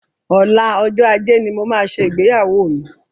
Ọlá, ọjọ́ ajé ni mo máa ṣe ìgbéyàwó mi.